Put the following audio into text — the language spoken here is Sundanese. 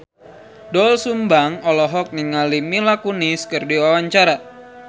Doel Sumbang olohok ningali Mila Kunis keur diwawancara